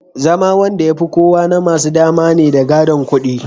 zama Wanda yafi kowa kudi namasu dama ne da gadon kudi